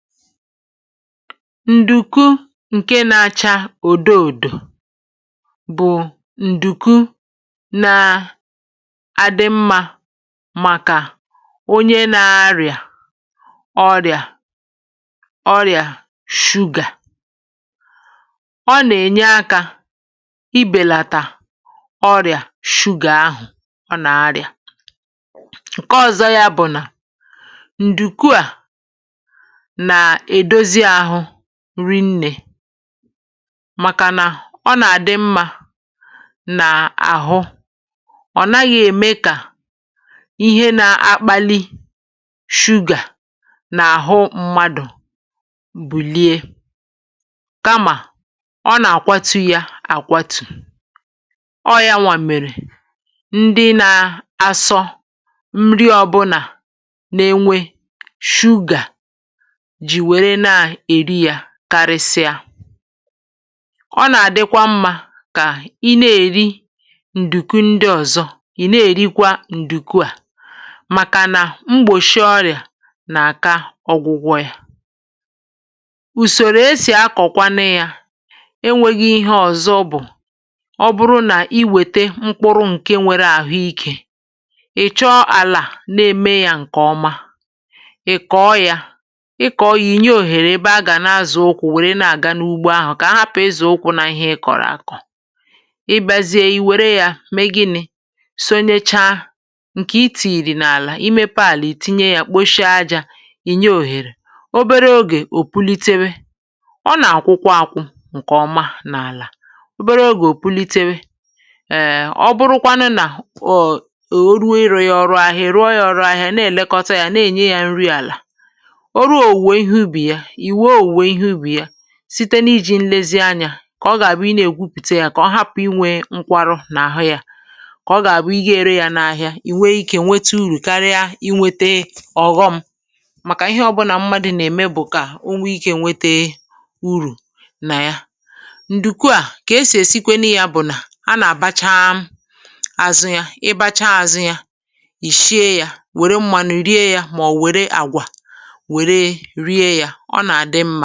Ǹdùku ǹkè nà-áchà ùdò-ùdù bụ̀ ǹdùku nà-ádị̇ mmā màkà onye nà-arìà ọ̀rị̀à sugar. Ọ̀ nà-ènye aka ibèlàtà ọ̀rị̀à sugar ahụ̀. Ọ̀ nà-arìà ǹkè ọ̀zọ̇, yá bụ̀ nà ǹdùku à bụ̀ food nnè, màkà nà ọ̀ nà-ádị mmā n’àhụ́, ọ̀ naghị̇ eme kà ihe na-akpali sugar n’ahụ́ mmadụ̀ bùlìe, kamà ọ̀ nà-àkwàtụ́ ya àkwàtụ́ọ. Hmm, yá nwàmèrè, ndị na-asọ food ọbụla nà-ènwe, karìsìà ọ̀ nà-ádịkwa mmā kà ì na-èrí ǹdùku ndị ọ̀zọ̇, ì na-èrikwa ǹdùku à. Màkà nà mgbòshi ọ̀rị̀à n’àka ọgwụgwọ yá, ùsòrò e sì akọ̀kwanụ yá, enwēghị ihe ọ̀zọ̇. Bụ̀ ọ̀ bụrụ̀ nà ì wètè mkpụrụ̇ ǹkè nwere àhụ́ íké, ị̀ chọọ àlà na-èmè yá ǹkè ọma, nye òhèrè. Ebe agà nà-azụ̀ ụkwụ̀, nwèrè nà-àga n’ugbò ahụ̀ kà ahà pụta ìzụ̀ ụkwụ̀ nà ihe ì kọ̀rọ̀ àkọ. Um, ì bìazie, ì wèrè yá mee gịnị̇? Sọ̀ nècháà: ǹkè ì tìyìrì n’àlà, í mèpé àlà, ì tìnyè yá, kpòshie ajà, nye òhèrè obere time.Ò púlitéwé, ọ̀ nà-àkwụkwọ àkwụ ǹkè ọma n’àlà. Ehm, obere time, ò púlitéwé. È, ọ̀ bụrụ̀kwanụ nà ó rùo ìrà yá, ọrụ́ market. Ì rùo yá ọrụ́ market, nà-èlekọta yá, nà-ènye yá food àlà, site n’ìjì nlezi anyā, kà ọ̀ gà-àbụ̀. Ì nà-egwùpụ̀té yá, kà ọ̀ hapụ̀ ịnwe nkwarụ n’ahụ́ yá. Kà ọ̀ gà-àbụ̀ ì gà-èrè yá n’ market, ì nwèé íké nwètè profit, karịa ínwètè ọ̀ghọm. Màkà ihe ọbụla mmadụ̀ nà-èmè bụ̀ kà onwē íké nwètè profit nà ya. Ǹdùkwà kà esì èsi kwènụ yá bụ̀ nà a nà-àbácha àzụ́ yá, ì báchà àzụ́ yá, ì shìé yá, wèrè mmanụ rìe yá. Màọ̀, wèrè àgwà, ọ̀ nà-ádị mmā.